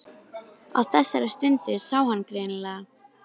Á þessari stundu sá hann greinilega.